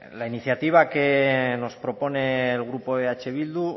la iniciativa que nos propone el grupo eh bildu